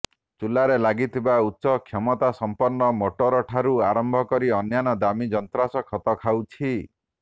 ଚୁଲାରେ ଲାଗିଥିବା ଉଚ୍ଚକ୍ଷମତାସଂପନ୍ନ ମୋଟରଠାରୁ ଆରମ୍ଭ କରି ଅନ୍ୟାନ୍ୟ ଦାମୀ ଯନ୍ତ୍ରାଂଶ ଖତ ଖାଉଛି